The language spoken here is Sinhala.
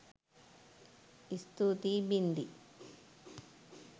ස්තුතියි බින්දි